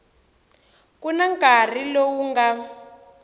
ku na nkarhi lowu nga